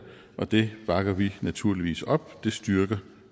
og det bakker vi naturligvis op det styrker